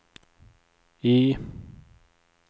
I